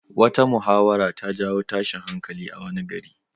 Wata muhawara ta jawo tashin hankali a wani gari.